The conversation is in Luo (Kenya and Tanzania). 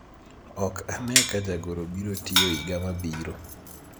ok ane ka jagoro biro tiyo higa mabiro